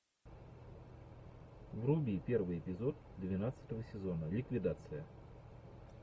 вруби первый эпизод двенадцатого сезона ликвидация